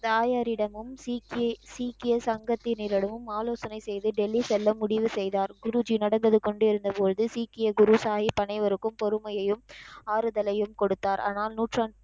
தாயாரிடமும், சீக்கிய சீக்கிய சங்கத்திடமும் ஆலோசனை செய்து டெல்லி செல்ல முடிவு செய்தார் குருஜி நடந்தது கொண்டிருந்தபோது சீக்கிய குரு சாஹிப் அனைவருக்கும் பொறுமையையும் ஆறுதலையும் கொடுத்தார் ஆனால் நூற்ற,